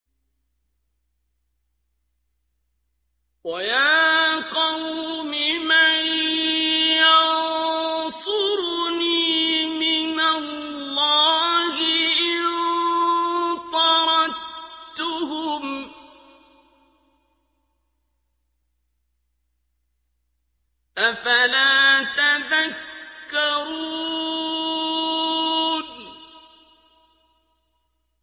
وَيَا قَوْمِ مَن يَنصُرُنِي مِنَ اللَّهِ إِن طَرَدتُّهُمْ ۚ أَفَلَا تَذَكَّرُونَ